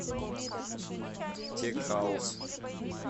тек хаус